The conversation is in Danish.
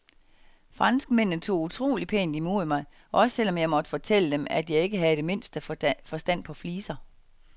Franskmændene tog utrolig pænt imod mig, også selv om jeg måtte fortælle dem, at jeg ikke havde det mindste forstand på fliser.